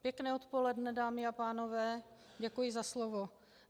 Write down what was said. Pěkné odpoledne, dámy a pánové, děkuji za slovo.